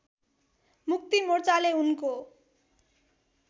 मुक्ति मोर्चाले उनको